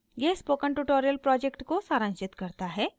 यह spoken tutorial project को सारांशित करता है